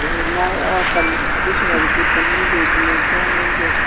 झोला और पन हरी कलर की पन्नी देखने को मिल रही--